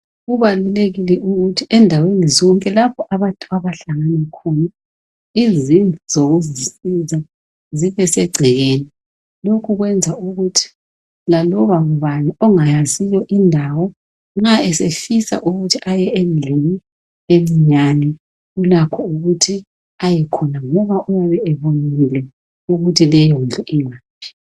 Kubalulekile ukuthi endaweni zonke lapho abantu abahlangana khona izindlu zokuzisiza zibesegcekeni Lokhu kwenza ukuthi laloba ngubani ongayaziyo indawo nxa esefisa ukuthi aye endlini encinyane ulakho ukuthi ayekhona ngoba ubebonile ukuthi leyondlu ingaphi